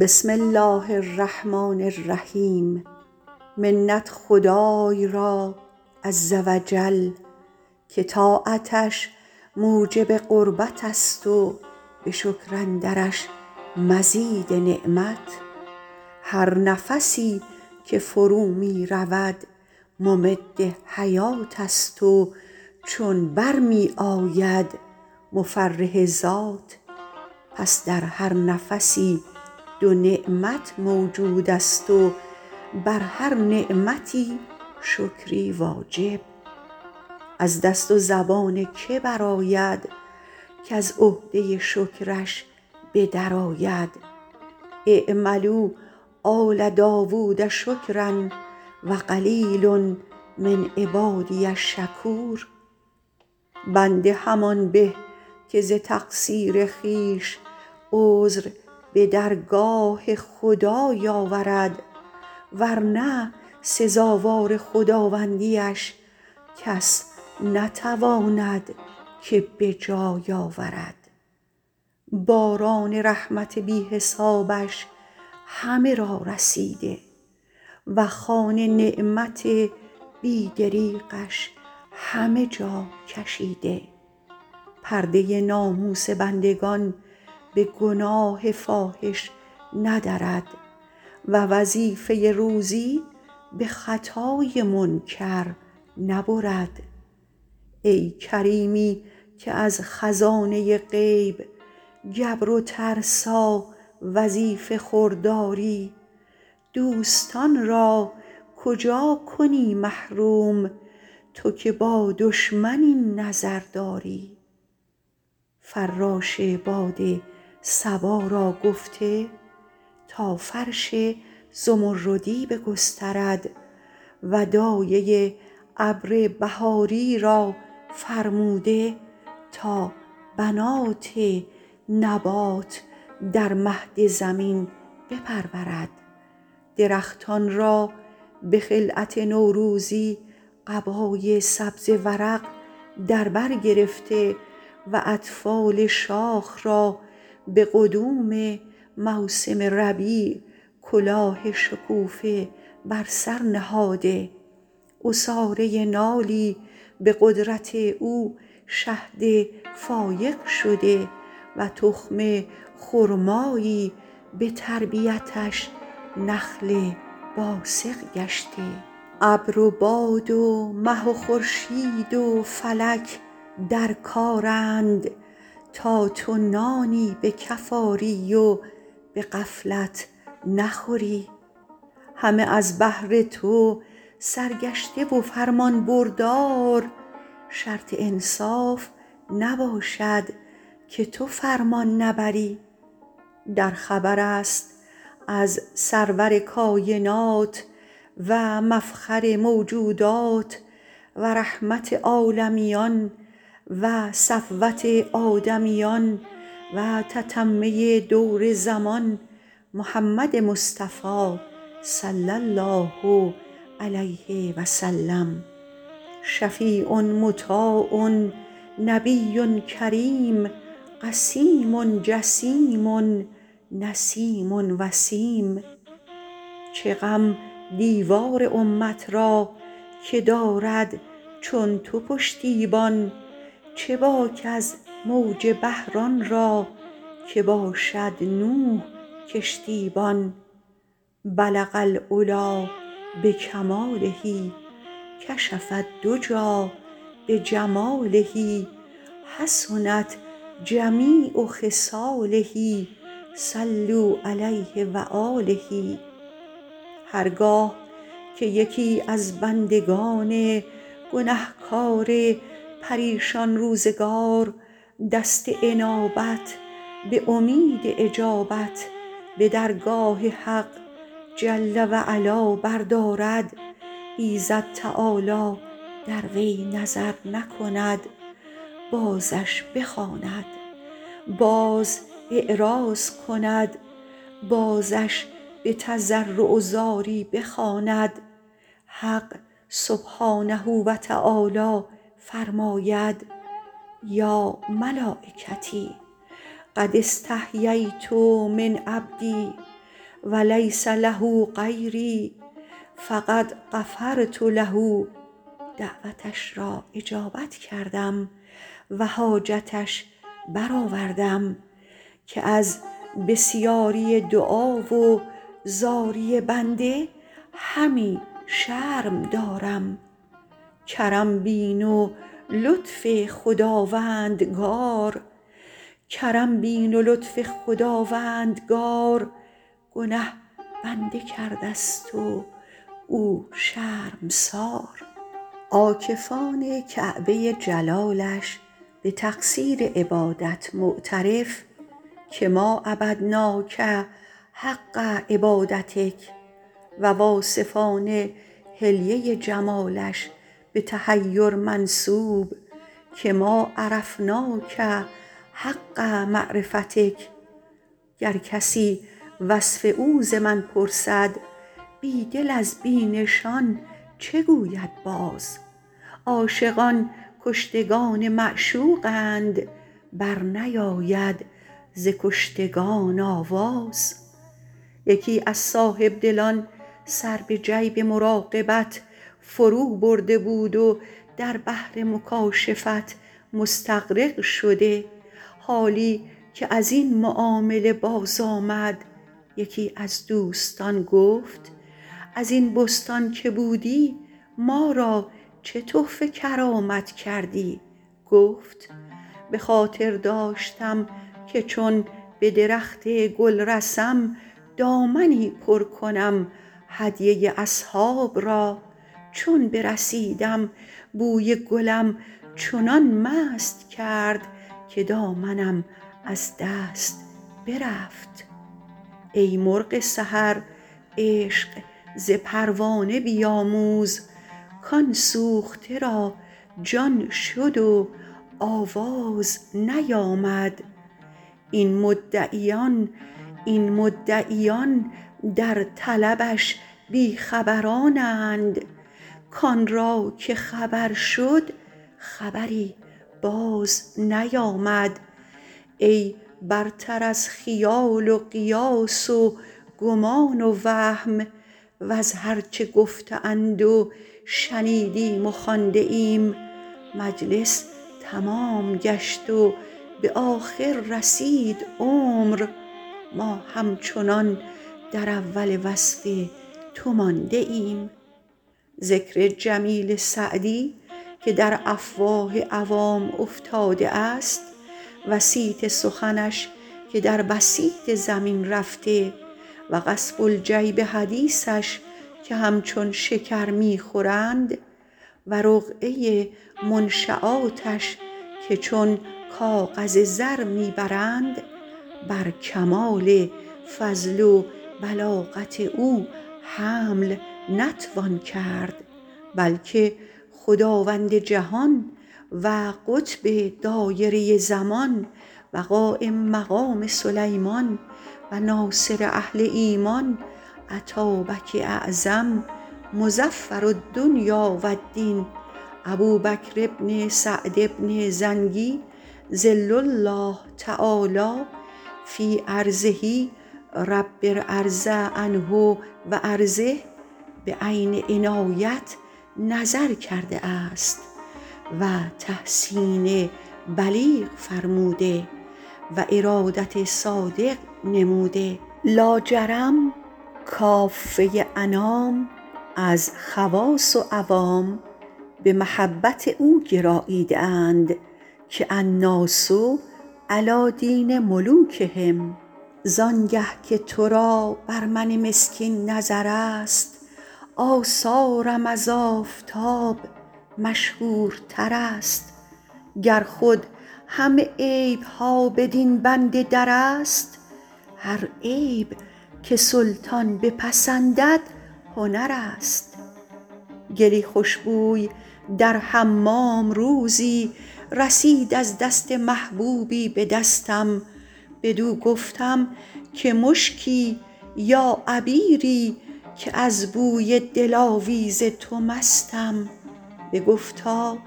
بسم الله الرحمن الرحیم منت خدای را عز و جل که طاعتش موجب قربت است و به شکر اندرش مزید نعمت هر نفسی که فرو می رود ممد حیات است و چون بر می آید مفرح ذات پس در هر نفسی دو نعمت موجود است و بر هر نعمتی شکری واجب از دست و زبان که برآید کز عهده شکرش به در آید اعملوا آل داود شکرا و قلیل من عبادی الشکور بنده همان به که ز تقصیر خویش عذر به درگاه خدای آورد ور نه سزاوار خداوندی اش کس نتواند که به جای آورد باران رحمت بی حسابش همه را رسیده و خوان نعمت بی دریغش همه جا کشیده پرده ناموس بندگان به گناه فاحش ندرد و وظیفه روزی به خطای منکر نبرد ای کریمی که از خزانه غیب گبر و ترسا وظیفه خور داری دوستان را کجا کنی محروم تو که با دشمن این نظر داری فراش باد صبا را گفته تا فرش زمردی بگسترد و دایه ابر بهاری را فرموده تا بنات نبات در مهد زمین بپرورد درختان را به خلعت نوروزی قبای سبز ورق در بر گرفته و اطفال شاخ را به قدوم موسم ربیع کلاه شکوفه بر سر نهاده عصاره نالی به قدرت او شهد فایق شده و تخم خرمایی به تربیتش نخل باسق گشته ابر و باد و مه و خورشید و فلک در کارند تا تو نانی به کف آری و به غفلت نخوری همه از بهر تو سرگشته و فرمانبردار شرط انصاف نباشد که تو فرمان نبری در خبر است از سرور کاینات و مفخر موجودات و رحمت عالمیان و صفوت آدمیان و تتمه دور زمان محمد مصطفی صلی الله علیه و سلم شفیع مطاع نبی کریم قسیم جسیم نسیم وسیم چه غم دیوار امت را که دارد چون تو پشتیبان چه باک از موج بحر آن را که باشد نوح کشتی بان بلغ العلیٰ بکماله کشف الدجیٰ بجماله حسنت جمیع خصاله صلوا علیه و آله هر گاه که یکی از بندگان گنهکار پریشان روزگار دست انابت به امید اجابت به درگاه حق جل و علا بردارد ایزد تعالی در وی نظر نکند بازش بخواند باز اعراض کند بازش به تضرع و زاری بخواند حق سبحانه و تعالی فرماید یا ملایکتی قد استحییت من عبدی و لیس له غیری فقد غفرت له دعوتش را اجابت کردم و حاجتش برآوردم که از بسیاری دعا و زاری بنده همی شرم دارم کرم بین و لطف خداوندگار گنه بنده کرده ست و او شرمسار عاکفان کعبه جلالش به تقصیر عبادت معترف که ما عبدناک حق عبادتک و واصفان حلیه جمالش به تحیر منسوب که ما عرفناک حق معرفتک گر کسی وصف او ز من پرسد بی دل از بی نشان چه گوید باز عاشقان کشتگان معشوقند بر نیاید ز کشتگان آواز یکی از صاحبدلان سر به جیب مراقبت فرو برده بود و در بحر مکاشفت مستغرق شده حالی که از این معامله باز آمد یکی از دوستان گفت از این بستان که بودی ما را چه تحفه کرامت کردی گفت به خاطر داشتم که چون به درخت گل رسم دامنی پر کنم هدیه اصحاب را چون برسیدم بوی گلم چنان مست کرد که دامنم از دست برفت ای مرغ سحر عشق ز پروانه بیاموز کآن سوخته را جان شد و آواز نیامد این مدعیان در طلبش بی خبرانند کآن را که خبر شد خبری باز نیامد ای برتر از خیال و قیاس و گمان و وهم وز هر چه گفته اند و شنیدیم و خوانده ایم مجلس تمام گشت و به آخر رسید عمر ما همچنان در اول وصف تو مانده ایم ذکر جمیل سعدی که در افواه عوام افتاده است و صیت سخنش که در بسیط زمین رفته و قصب الجیب حدیثش که همچون شکر می خورند و رقعه منشیاتش که چون کاغذ زر می برند بر کمال فضل و بلاغت او حمل نتوان کرد بلکه خداوند جهان و قطب دایره زمان و قایم مقام سلیمان و ناصر اهل ایمان اتابک اعظم مظفر الدنیا و الدین ابوبکر بن سعد بن زنگی ظل الله تعالیٰ في أرضه رب ارض عنه و أرضه به عین عنایت نظر کرده است و تحسین بلیغ فرموده و ارادت صادق نموده لاجرم کافه انام از خواص و عوام به محبت او گراییده اند که الناس علیٰ دین ملوکهم زآن گه که تو را بر من مسکین نظر است آثارم از آفتاب مشهورتر است گر خود همه عیب ها بدین بنده در است هر عیب که سلطان بپسندد هنر است گلی خوش بوی در حمام روزی رسید از دست محبوبی به دستم بدو گفتم که مشکی یا عبیری که از بوی دلاویز تو مستم بگفتا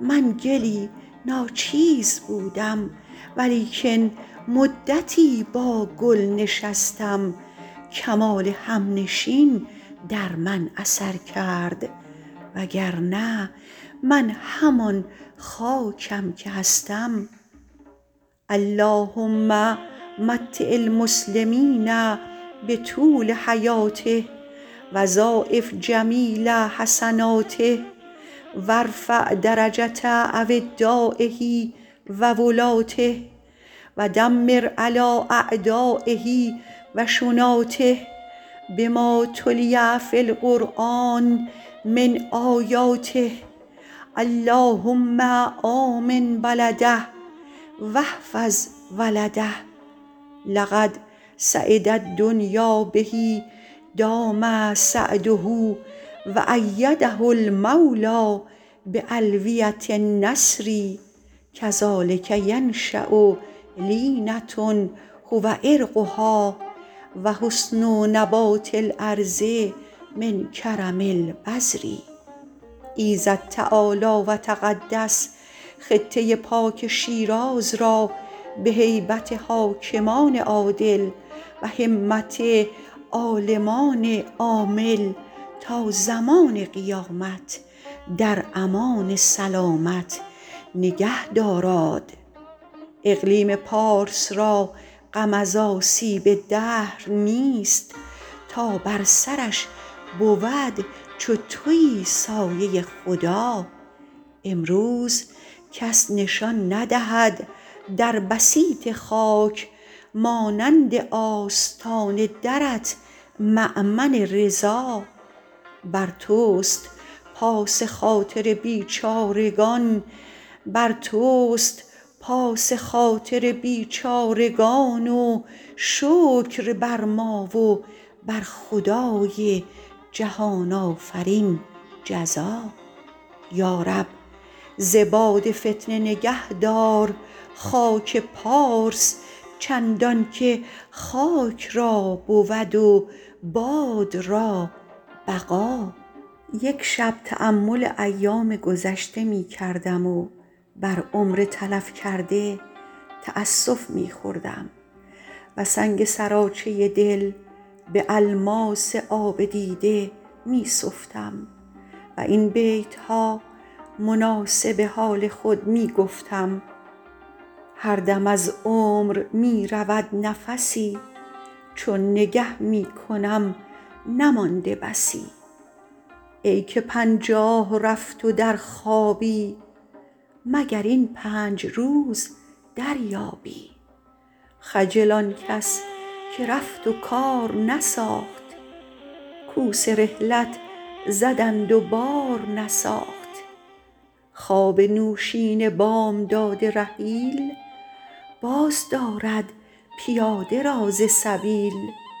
من گلی ناچیز بودم و لیکن مدتی با گل نشستم کمال همنشین در من اثر کرد وگرنه من همان خاکم که هستم اللهم متع المسلمین بطول حیاته و ضاعف جمیل حسناته و ارفع درجة أودایه و ولاته و دمر علیٰ أعدایه و شناته بما تلي في القرآن من آیاته اللهم آمن بلده و احفظ ولده لقد سعد الدنیا به دام سعده و أیده المولیٰ بألویة النصر کذلک ینشأ لینة هو عرقها و حسن نبات الأرض من کرم البذر ایزد تعالی و تقدس خطه پاک شیراز را به هیبت حاکمان عادل و همت عالمان عامل تا زمان قیامت در امان سلامت نگه داراد اقلیم پارس را غم از آسیب دهر نیست تا بر سرش بود چو تویی سایه خدا امروز کس نشان ندهد در بسیط خاک مانند آستان درت مأمن رضا بر توست پاس خاطر بیچارگان و شکر بر ما و بر خدای جهان آفرین جزا یا رب ز باد فتنه نگهدار خاک پارس چندان که خاک را بود و باد را بقا یک شب تأمل ایام گذشته می کردم و بر عمر تلف کرده تأسف می خوردم و سنگ سراچه دل به الماس آب دیده می سفتم و این بیت ها مناسب حال خود می گفتم هر دم از عمر می رود نفسی چون نگه می کنم نمانده بسی ای که پنجاه رفت و در خوابی مگر این پنج روز دریابی خجل آن کس که رفت و کار نساخت کوس رحلت زدند و بار نساخت خواب نوشین بامداد رحیل باز دارد پیاده را ز سبیل هر که آمد عمارتی نو ساخت رفت و منزل به دیگری پرداخت وآن دگر پخت همچنین هوسی وین عمارت به سر نبرد کسی یار ناپایدار دوست مدار دوستی را نشاید این غدار نیک و بد چون همی بباید مرد خنک آن کس که گوی نیکی برد برگ عیشی به گور خویش فرست کس نیارد ز پس ز پیش فرست عمر برف است و آفتاب تموز اندکی ماند و خواجه غره هنوز ای تهی دست رفته در بازار ترسمت پر نیاوری دستار هر که مزروع خود بخورد به خوید وقت خرمنش خوشه باید چید بعد از تأمل این معنی مصلحت چنان دیدم که در نشیمن عزلت نشینم و دامن صحبت فراهم چینم و دفتر از گفت های پریشان بشویم و من بعد پریشان نگویم زبان بریده به کنجی نشسته صم بکم به از کسی که نباشد زبانش اندر حکم تا یکی از دوستان که در کجاوه انیس من بود و در حجره جلیس به رسم قدیم از در در آمد چندان که نشاط ملاعبت کرد و بساط مداعبت گسترد جوابش نگفتم و سر از زانوی تعبد بر نگرفتم رنجیده نگه کرد و گفت کنونت که امکان گفتار هست بگو ای برادر به لطف و خوشی که فردا چو پیک اجل در رسید به حکم ضرورت زبان در کشی کسی از متعلقان منش بر حسب واقعه مطلع گردانید که فلان عزم کرده است و نیت جزم که بقیت عمر معتکف نشیند و خاموشی گزیند تو نیز اگر توانی سر خویش گیر و راه مجانبت پیش گفتا به عزت عظیم و صحبت قدیم که دم بر نیارم و قدم بر ندارم مگر آن گه که سخن گفته شود به عادت مألوف و طریق معروف که آزردن دوستان جهل است و کفارت یمین سهل و خلاف راه صواب است و نقص رای اولوالالباب ذوالفقار علی در نیام و زبان سعدی در کام زبان در دهان ای خردمند چیست کلید در گنج صاحب هنر چو در بسته باشد چه داند کسی که جوهرفروش است یا پیله ور اگر چه پیش خردمند خامشی ادب است به وقت مصلحت آن به که در سخن کوشی دو چیز طیره عقل است دم فرو بستن به وقت گفتن و گفتن به وقت خاموشی فی الجمله زبان از مکالمه او در کشیدن قوت نداشتم و روی از محاوره او گردانیدن مروت ندانستم که یار موافق بود و ارادت صادق چو جنگ آوری با کسی بر ستیز که از وی گزیرت بود یا گریز به حکم ضرورت سخن گفتم و تفرج کنان بیرون رفتیم در فصل ربیع که صولت برد آرمیده بود و ایام دولت ورد رسیده پیراهن برگ بر درختان چون جامه عید نیک بختان اول اردیبهشت ماه جلالی بلبل گوینده بر منابر قضبان بر گل سرخ از نم اوفتاده لآلی همچو عرق بر عذار شاهد غضبان شب را به بوستان با یکی از دوستان اتفاق مبیت افتاد موضعی خوش و خرم و درختان درهم گفتی که خرده مینا بر خاکش ریخته و عقد ثریا از تارکش آویخته روضة ماء نهرها سلسال دوحة سجع طیرها موزون آن پر از لاله های رنگارنگ وین پر از میوه های گوناگون باد در سایه درختانش گسترانیده فرش بوقلمون بامدادان که خاطر باز آمدن بر رای نشستن غالب آمد دیدمش دامنی گل و ریحان و سنبل و ضیمران فراهم آورده و رغبت شهر کرده گفتم گل بستان را چنان که دانی بقایی و عهد گلستان را وفایی نباشد و حکما گفته اند هر چه نپاید دلبستگی را نشاید گفتا طریق چیست گفتم برای نزهت ناظران و فسحت حاضران کتاب گلستان توانم تصنیف کردن که باد خزان را بر ورق او دست تطاول نباشد و گردش زمان عیش ربیعش را به طیش خریف مبدل نکند به چه کار آیدت ز گل طبقی از گلستان من ببر ورقی گل همین پنج روز و شش باشد وین گلستان همیشه خوش باشد حالی که من این بگفتم دامن گل بریخت و در دامنم آویخت که الکریم إذا وعد وفا فصلی در همان روز اتفاق بیاض افتاد در حسن معاشرت و آداب محاورت در لباسی که متکلمان را به کار آید و مترسلان را بلاغت بیفزاید فی الجمله هنوز از گل بستان بقیتی موجود بود که کتاب گلستان تمام شد و تمام آن گه شود به حقیقت که پسندیده آید در بارگاه شاه جهان پناه سایه کردگار و پرتو لطف پروردگار ذخر زمان و کهف امان المؤید من السماء المنصور علی الأعداء عضد الدولة القاهرة سراج الملة الباهرة جمال الأنام مفخر الإسلام سعد بن الاتابک الاعظم شاهنشاه المعظم مولیٰ ملوک العرب و العجم سلطان البر و البحر وارث ملک سلیمان مظفرالدین أبی بکر بن سعد بن زنگی أدام الله إقبالهما و ضاعف جلالهما و جعل إلیٰ کل خیر مآلهما و به کرشمه لطف خداوندی مطالعه فرماید گر التفات خداوندی اش بیاراید نگارخانه چینی و نقش ارتنگی ست امید هست که روی ملال در نکشد از این سخن که گلستان نه جای دلتنگی ست علی الخصوص که دیباچه همایونش به نام سعد ابوبکر سعد بن زنگی ست دیگر عروس فکر من از بی جمالی سر بر نیارد و دیده یأس از پشت پای خجالت بر ندارد و در زمره صاحب دلان متجلی نشود مگر آن گه که متحلی گردد به زیور قبول امیر کبیر عالم عادل مؤید مظفر منصور ظهیر سریر سلطنت و مشیر تدبیر مملکت کهف الفقرا ملاذ الغربا مربی الفضلا محب الأتقیا افتخار آل فارس یمین الملک ملک الخواص فخر الدولة و الدین غیاث الإسلام و المسلمین عمدة الملوک و السلاطین ابوبکر بن أبي نصر أطال الله عمره و أجل قدره و شرح صدره و ضاعف أجره که ممدوح اکابر آفاق است و مجموع مکارم اخلاق هر که در سایه عنایت اوست گنهش طاعت است و دشمن دوست به هر یک از سایر بندگان حواشی خدمتی متعین است که اگر در ادای برخی از آن تهاون و تکاسل روا دارند در معرض خطاب آیند و در محل عتاب مگر بر این طایفه درویشان که شکر نعمت بزرگان واجب است و ذکر جمیل و دعای خیر و اداء چنین خدمتی در غیبت اولی ٰتر است که در حضور که آن به تصنع نزدیک است و این از تکلف دور پشت دوتای فلک راست شد از خرمی تا چو تو فرزند زاد مادر ایام را حکمت محض است اگر لطف جهان آفرین خاص کند بنده ای مصلحت عام را دولت جاوید یافت هر که نکونام زیست کز عقبش ذکر خیر زنده کند نام را وصف تو را گر کنند ور نکنند اهل فضل حاجت مشاطه نیست روی دلارام را تقصیر و تقاعدی که در مواظبت خدمت بارگاه خداوندی می رود بنا بر آن است که طایفه ای از حکماء هندوستان در فضایل بزرجمهر سخن می گفتند به آخر جز این عیبش ندانستند که در سخن گفتن بطی است یعنی درنگ بسیار می کند و مستمع را بسی منتظر باید بودن تا تقریر سخنی کند بزرجمهر بشنید و گفت اندیشه کردن که چه گویم به از پشیمانی خوردن که چرا گفتم سخندان پرورده پیر کهن بیندیشد آن گه بگوید سخن مزن تا توانی به گفتار دم نکو گوی گر دیر گویی چه غم بیندیش وآن گه بر آور نفس وز آن پیش بس کن که گویند بس به نطق آدمی بهتر است از دواب دواب از تو به گر نگویی صواب فکیف در نظر اعیان حضرت خداوندی عز نصره که مجمع اهل دل است و مرکز علمای متبحر اگر در سیاقت سخن دلیری کنم شوخی کرده باشم و بضاعت مزجاة به حضرت عزیز آورده و شبه در جوهریان جویٖ نیارد و چراغ پیش آفتاب پرتوی ندارد و مناره بلند بر دامن کوه الوند پست نماید هر که گردن به دعوی افرازد خویشتن را به گردن اندازد سعدی افتاده ای ست آزاده کس نیاید به جنگ افتاده اول اندیشه وآن گهی گفتار پای بست آمده ست و پس دیوار نخل بندی دانم ولی نه در بستان و شاهدی فروشم ولیکن نه در کنعان لقمان را گفتند حکمت از که آموختی گفت از نابینایان که تا جای نبینند پای ننهند قدم الخروج قبل الولوج مردیت بیازمای وآن گه زن کن گر چه شاطر بود خروس به جنگ چه زند پیش باز رویین چنگ گربه شیر است در گرفتن موش لیک موش است در مصاف پلنگ اما به اعتماد سعت اخلاق بزرگان که چشم از عوایب زیردستان بپوشند و در افشای جرایم کهتران نکوشند کلمه ای چند به طریق اختصار از نوادر و امثال و شعر و حکایات و سیر ملوک ماضی رحمهم الله در این کتاب درج کردیم و برخی از عمر گرانمایه بر او خرج موجب تصنیف کتاب این بود و بالله التوفیق بماند سال ها این نظم و ترتیب ز ما هر ذره خاک افتاده جایی غرض نقشی ست کز ما باز ماند که هستی را نمی بینم بقایی مگر صاحب دلی روزی به رحمت کند در کار درویشان دعایی امعان نظر در ترتیب کتاب و تهذیب ابواب ایجاز سخن مصلحت دید تا بر این روضه غنا و حدیقه غلبا چون بهشت هشت باب اتفاق افتاد از آن مختصر آمد تا به ملال نینجامد باب اول در سیرت پادشاهان باب دوم در اخلاق درویشان باب سوم در فضیلت قناعت باب چهارم در فواید خاموشی باب پنجم در عشق و جوانی باب ششم در ضعف و پیری باب هفتم در تأثیر تربیت باب هشتم در آداب صحبت در این مدت که ما را وقت خوش بود ز هجرت شش صد و پنجاه و شش بود مراد ما نصیحت بود و گفتیم حوالت با خدا کردیم و رفتیم